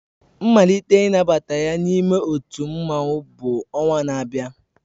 Mmalite nnabata ya n'ime otu mmanwu bụ ọnwa na-abịa